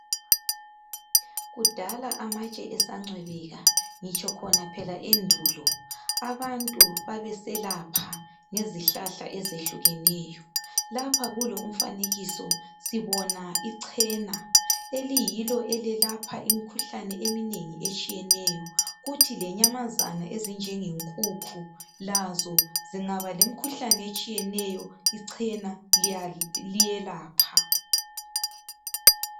Kudala amatshe esancwebeka ngitsho khona phela endulo abantu babeselapha ngezihlahla ezihlukeneyo lapha kulo umfanekiso sibona ichena eliyilo elelapha imikhuhlane eminengi etshiyeneyo kuthi lenyamazana ezinjengenkukhu lazo zingaba lemikhuhlane etshiyeneyo ichena liyelapha.